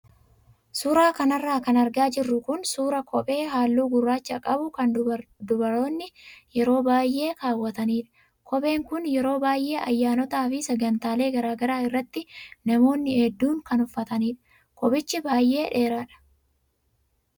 Suuraa kanarraa kan argaa jirru kun suuraa kophee halluu gurraacha qabu kan dubaroonni yeroo baay'ee kaawwatanidha. Kopheen kun yeroo baay'ee ayyaanotaa fi sagantaalee garaagaraa irratti namoonni hedduun kan uffatanidha. Kophichi baay'ee dheeraadha.